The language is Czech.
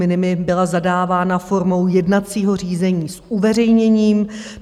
Minimi byla zadávána formou jednacího řízení s uveřejněním.